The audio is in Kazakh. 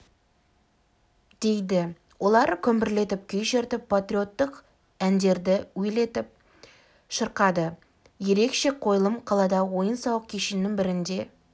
дейді олар күмбірлетіп күй шертіп патриоттық ндерді уелетіп шырқады ерекше қойылым қаладағы ойын-сауық кешеннің бірінде